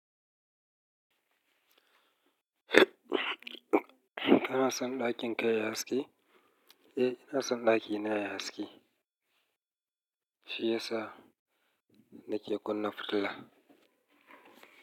Kana son ɗakin ka yayi haske? Eh ina son ɗakina yayi haski. Shi yasa nake kunna fitila.